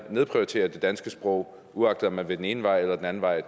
nedprioritere det danske sprog uagtet man vil den ene vej eller den anden vej